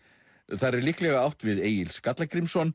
þar er líklega átt við Egil